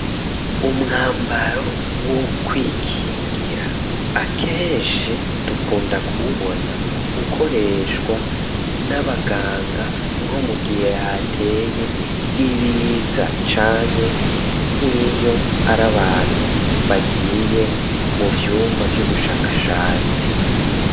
Umwambaro wo kwikingira, akenshi dukunda kuwubona ukoreshwa n'abaganga, nko mugihe hateye ibiza, canke nkiyo ar’abantu bagiye mu vyumba vy'ubushakashatsi.